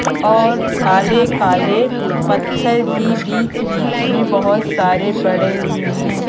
और काले - काले पत्थर भी बीच में बीच में बहुत सारे पड़े हुए हैं।